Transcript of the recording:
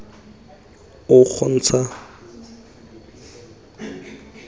o kgontsha go tsena ga